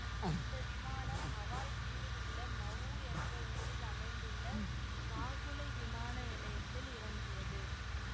அந்த விமானம் ஹவாய் தீவில் உள்ள மவு என்ற ஊரில் அமைந்துள்ள காகுலை விமான நிலையத்தில் இறங்கியது